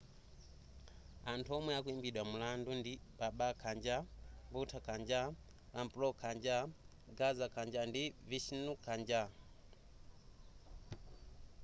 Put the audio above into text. anthu omwe akuimbidwa mulandu ndi baba kanjar bhutha kanjar rampro kanjar gaza kanjar ndi vishnu kanjar